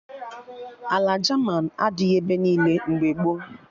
Ala jaman adịghị ebe niile mgbe gboo